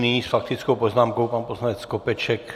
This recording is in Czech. Nyní s faktickou poznámkou pan poslanec Skopeček.